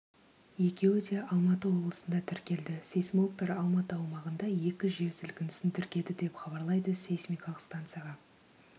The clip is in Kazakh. екеуі де алматы облысында тіркелді сейсмологтар алматы аумағында екі жер сілкінісін тіркеді деп хабарлайды сейсмикалық станцияға